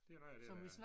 Det er rigtigt ja